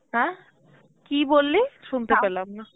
অ্যাঁ, কি বললি শুনতে পেলাম না